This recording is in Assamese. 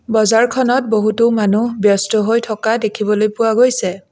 বজাৰখনত বহুতো মানুহ ব্যস্ত হৈ থকা দেখিবলৈ পোৱা গৈছে।